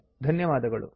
ಧನ್ಯವಾದಗಳು